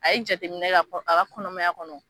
A ye jateminɛ kɛ a ka kɔnɔmaya kɔnɔ